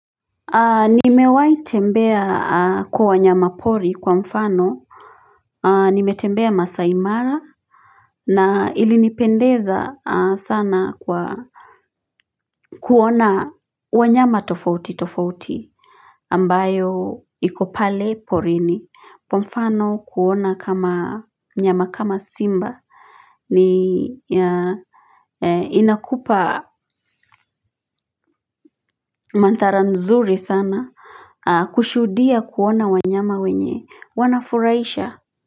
Nimewai tembea kwa wanyama pori kwa mfano nimetembea masaimara na ilinipendeza sana kwa kuona wanyama tofauti tofauti ambayo ikopale porini po mfano kuona kama nyama kama simba ni ya inakupa mantara nzuri sana kushudia kuona wanyama wenye wanafuraisha ya.